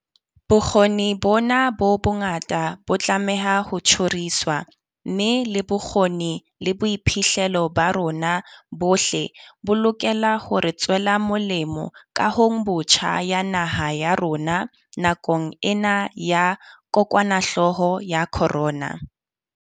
Bokgoni bona bo bongata bo tlameha ho tjhoriswa, mme le bokgoni le boiphihlelo ba rona bohle bo lokela hore tswela molemo kahongbotjha ya naha ya rona nakong ena ya kokwanahlooho ya corona.